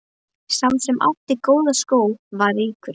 Sá sem átti góða skó var ríkur.